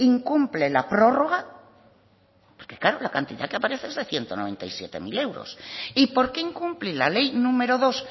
incumple la prórroga porque claro la cantidad que aparece es de ciento noventa y siete mil euros y por qué incumple la ley número dos